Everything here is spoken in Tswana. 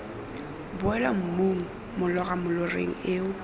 boela mmung molora moloreng eo